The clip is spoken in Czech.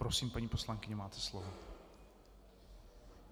Prosím, paní poslankyně, máte slovo.